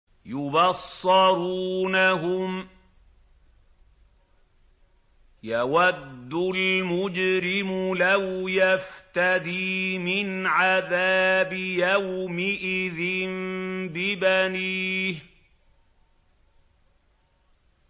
يُبَصَّرُونَهُمْ ۚ يَوَدُّ الْمُجْرِمُ لَوْ يَفْتَدِي مِنْ عَذَابِ يَوْمِئِذٍ بِبَنِيهِ